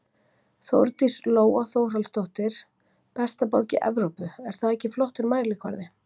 Þórdís Lóa Þórhallsdóttir: Besta borg í Evrópu er það ekki flottur mælikvarði?